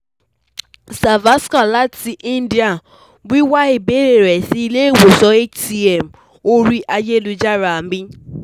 Savaskar lati India, wiwa ibeere rẹ si Ile-iwosan HCM ori ayelujara mi